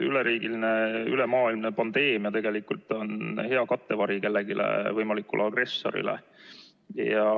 Üleriigiline ja ülemaailmne pandeemia tegelikult on hea kattevari mõnele võimalikule agressorile.